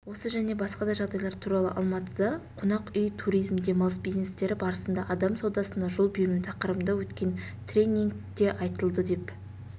осы және басқа да жағдайлар туралы алматыда қонақ үй туризм демалыс бизнестері барысында адам саудасына жол бермеу тақырыбында өткен тренингтеайтылды деп